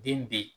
Den be yen